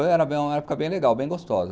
Era uma época bem legal, bem gostosa.